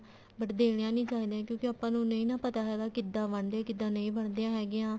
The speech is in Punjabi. but ਦੇਣੀਆਂ ਨੀ ਚਾਹੀਦੀਆਂ ਕਿਉਂਕਿ ਆਪਾਂ ਨੂੰ ਨਹੀਂ ਨਾ ਪਤਾ ਹੈਗਾ ਕਿੱਦਾਂ ਬਣਦੀਆਂ ਕਿੱਦਾਂ ਨਹੀਂ ਬਣਦੀਆਂ ਹੈਗੀਆਂ